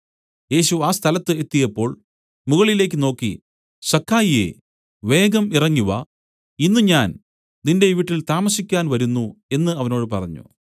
യേശു ആ സ്ഥലത്ത് എത്തിയപ്പോൾ മുകളിലേക്കു നോക്കി സക്കായിയേ വേഗം ഇറങ്ങിവാ ഇന്ന് ഞാൻ നിന്റെ വീട്ടിൽ താമസിക്കാൻ വരുന്നു എന്നു അവനോട് പറഞ്ഞു